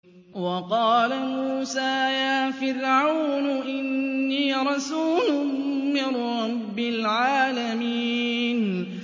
وَقَالَ مُوسَىٰ يَا فِرْعَوْنُ إِنِّي رَسُولٌ مِّن رَّبِّ الْعَالَمِينَ